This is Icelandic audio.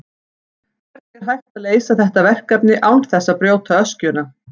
Hvernig er hægt að leysa þetta verkefni án þess að brjóta öskjuna?